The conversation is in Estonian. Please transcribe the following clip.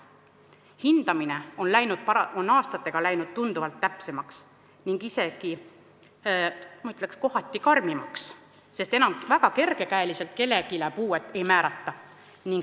Hindamine on aastatega läinud tunduvalt täpsemaks ning, ma ütleks, kohati isegi karmimaks, sest kellelegi enam väga kergekäeliselt puuet ei määrata.